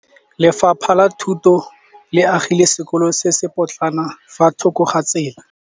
Lefapha la Thuto le agile sekôlô se se pôtlana fa thoko ga tsela.